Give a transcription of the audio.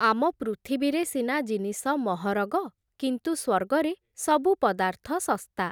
ଆମ ପୃଥିବୀରେ ସିନା ଜିନିଷ ମହରଗ, କିନ୍ତୁ ସ୍ଵର୍ଗରେ ସବୁ ପଦାର୍ଥ ଶସ୍ତା ।